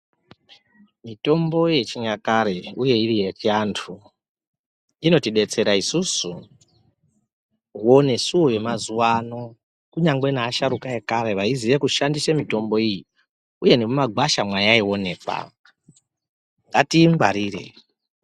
Mitombo yechinyakare uye iri yechiantu inotidetsera isisu wonesuwo wemazuwano kunyangwe neasharukwa ekare vaiziye kushandise mitombo iyi ,uye nemumagwasha mayaionekwa, ngatiingwarire.